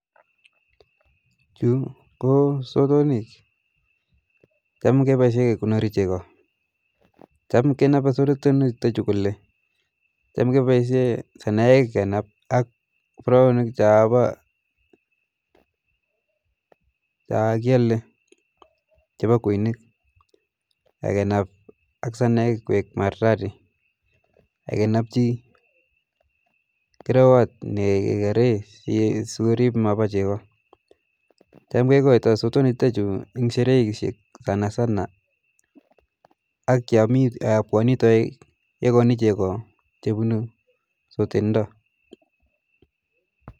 Chu ko sotonik ,cham kepaishe kekonori cheko ,cham kenape sotonik chutachu kole cham kepaishe sanayek kenap ak poroonik cho kiale cho po kweinik akanap ak saneyek koek maridadi akkenapchi kerewot ne kekaree so korip mapa cheko ,cham kekoito sotonik chutachu eng shereishek sana sana ak yo pwani taek kekoni cheko chepunu sotet ndo